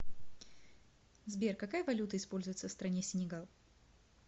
сбер какая валюта используется в стране сенегал